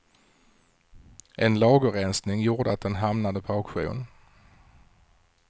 En lagerrensning gjorde att den hamnade på auktion.